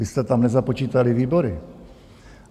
Vy jste tam nezapočítali výbory.